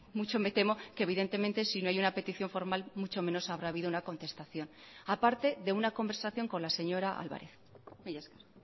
mucho me temo que evidentemente si no hay una petición formal mucho menos habrá habido una contestación a parte de una conversación con la señora álvarez mila esker